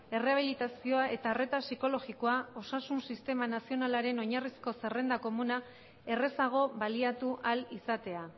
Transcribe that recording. errehabilitazioa eta arreta psikologikoa osasun sistema nazionalaren oinarrizko zerrenda komuna errazago baliatu ahal izatea